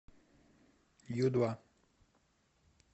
ю два